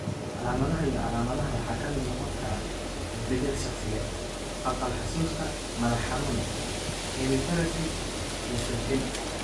Calaamadaha iyo calaamadaha waxaa ka mid noqon kara isbeddel shakhsiyeed, khalkhal xusuusta, madax-xanuun, hemiparesis, iyo suuxdin.